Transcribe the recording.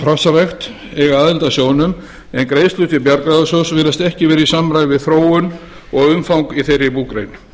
hrossarækt eiga aðild að sjóðnum en greiðslur til bjargráðasjóðs virðast ekki vera í samræmi við þróun og umfang í þeirri búgrein